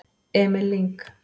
Emil Lyng